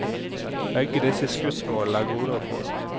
Begge disse skussmålene er gode å få.